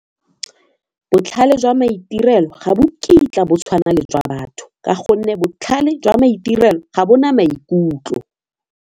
Botlhale jwa maitirelo ga bo kitla bo tshwana le jwa batho ka gonne botlhale jwa maitirelo ga bo na maikutlo.